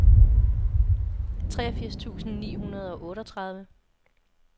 treogfirs tusind ni hundrede og otteogtredive